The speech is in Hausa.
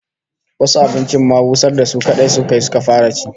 Wasu abincin ma busar da su kadai suka yi, suka fara cin su